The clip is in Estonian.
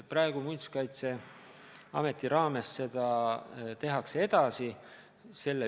Praegu Muinsuskaitseametis seda tehakse edasi.